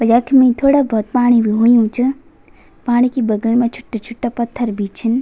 यख्मी थोडा बहौत पाणी भी हुयुं च पाणी की बगल मा छुट्टा-छुट्टा पत्थर भी छन।